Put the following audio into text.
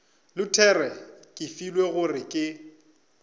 luthere ke filwe gore ke